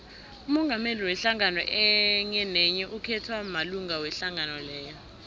umongameli wehlangano enyenenye ukhethwa malunga wehlangano leyo